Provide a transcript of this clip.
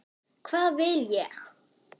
Hvað vil ég?